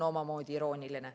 Omamoodi irooniline.